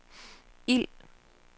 ild